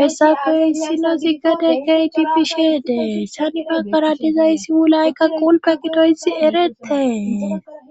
hessafe issino ziggade keydi pishe dee sanifaqara dizayssiwulay ka qulpe gidoysi eretee